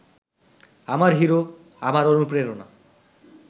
আমার হিরো, আমার অনুপ্রেরণা